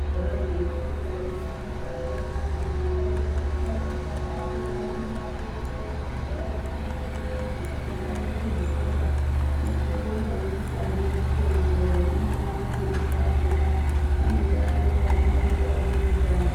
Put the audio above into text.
...gara zveindoronzwa kuti musasagara neana mumakanyimwo. Itai kuti ana abude achiri adoodori, kudai echinyaabve kurumurwa ngaaende kuzvikora. Hino tinobonga ngekuti antu ozviteedzera unoona neanofundisa akona anenge ariyo ana eindodaroko kutamba.